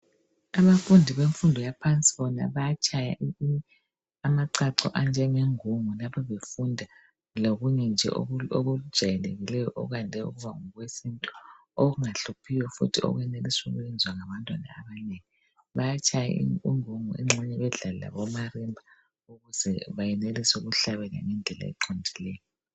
Abafundi bemfundo yaphansi bayatshaya amacaco anjengengungu lapho befunda lokunye nje okujayelekileyo okwande ukuba ngokwesintu okungahluphiyo okwenelisa ukwenza ngabantwana. Bayatshaya ingubgu engxenye bedlale omarimba okwenzela ukuthi benelise ukhlabela.